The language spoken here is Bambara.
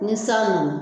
Ni san nana